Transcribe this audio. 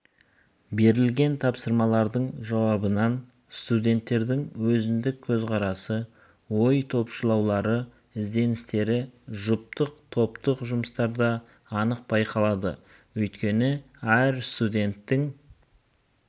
берілген тапсырмалардың жауабынан студенттердің өзіндік көзқарасы ой топшылаулары ізденістері жұптық топтық жұмыстарда анық байқалады өйткені әр студенттің